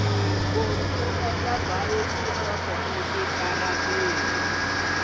munhu wa endla bayisikopo exitarateni